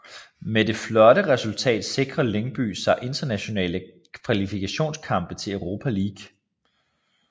Med det det flotte resultat sikrer Lyngby sig internationale kvalifikationskampe til Europa League